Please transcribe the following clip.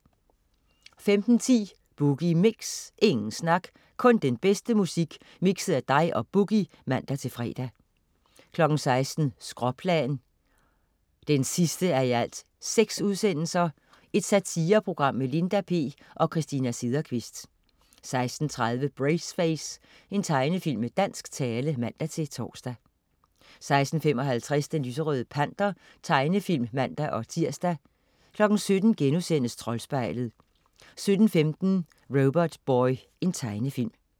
15.10 Boogie Mix. Ingen snak, kun den bedste musik mikset af dig og "Boogie" (man-fre) 16.00 Skråplan 6:6. Satireprogram med Linda P og Christina Sederkvist 16.30 Braceface. Tegnefilm med dansk tale (man-tors) 16.55 Den lyserøde Panter. Tegnefilm (man-tirs) 17.00 Troldspejlet* 17.15 Robotboy. Tegnefilm